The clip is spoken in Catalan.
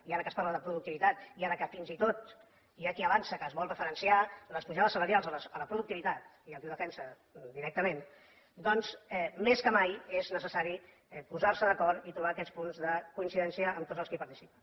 i ara que es parla de productivitat i ara que fins i tot hi ha qui avança que es vol referenciar les pujades salarials a la productivitat i hi ha qui ho defensa directament doncs més que mai és necessari posar se d’acord i trobar aquests punts de coincidència amb tots els que hi participen